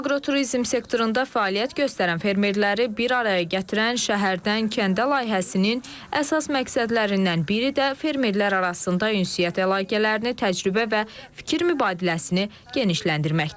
Aqroturizm sektorunda fəaliyyət göstərən fermerləri bir araya gətirən Şəhərdən kəndə layihəsinin əsas məqsədlərindən biri də fermerlər arasında ünsiyyət əlaqələrini, təcrübə və fikir mübadiləsini genişləndirməkdir.